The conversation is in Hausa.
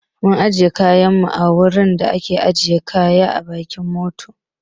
Mun ajiye kayan mu a wurin da a ke ajiye kaya a bayan mota